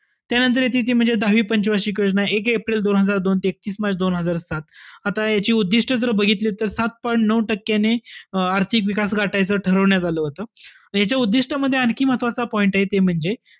त्यांनतर येते ती म्हणजे दहावी पंच वार्षिक योजना, एक एप्रिल दोन हजार दोन ते एकतीस मार्च दोन हजार सात. आता याची उद्दिष्ट जर बघितली तर सात point नऊ टक्क्यांनी अं आर्थिक विकास गाठायचा ठरवण्यात आलं होतं. त याच्या उद्दिष्टामध्ये आणखी महत्वाचा point आहे ते म्हणजे,